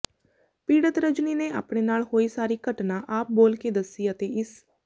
ਪੀੜਤ ਰਜਨੀ ਨੇ ਅਪਣੇ ਨਾਲ ਹੋਈ ਸਾਰੀ ਘਟਨਾ ਆਪ ਬੋਲ ਕੇ ਦੱਸੀ ਅਤੇ ਇਸ